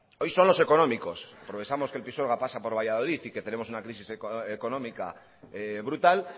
hoy son los económicos porque sabemos que el pisuerga pasa por valladolid y que tenemos una crisis económica brutal